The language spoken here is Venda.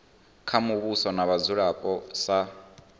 kha muvhuso na vhadzulapo sa